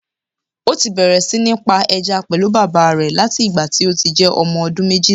Ó ti bẹ̀rẹ̀ sí ní ń pa ẹja pẹ̀lú bàbà rẹ̀ láti ìgbà tí ó ti jẹ́ ọmọ ọdún méjìlá